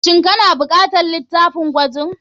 Shin kana bukatar litafin gwajin.